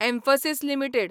Mphasis limited